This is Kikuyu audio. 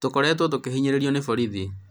tũkoretwo tũkĩhinyĩrĩrio nĩ borithi.